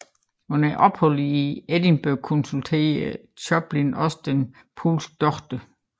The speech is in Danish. Under opholdet i Edinburgh konsulterede Chopin også den polske læge dr